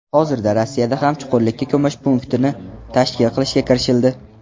Hozirda Rossiyada ham chuqurlikka ko‘mish punktini tashkil qilishga kirishildi.